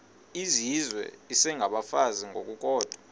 izizwe isengabafazi ngokukodwa